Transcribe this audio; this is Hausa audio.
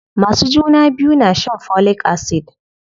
Masu juna biyu na shan folic acid.